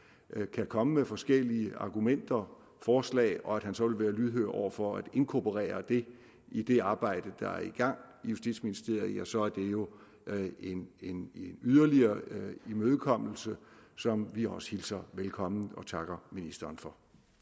kan komme med forskellige argumenter og forslag og at han så vil være lydhør over for at inkorporere det i det arbejde der er i gang i justitsministeriet så er det jo en yderligere imødekommelse som vi også hilser velkommen og takker ministeren for